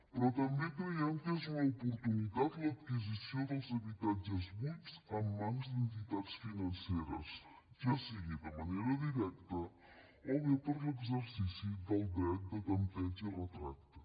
però també creiem que és una oportunitat l’adquisició dels habitatges buits en mans d’entitats financeres ja sigui de manera directa o bé per a l’exercici del dret de tanteig i retracte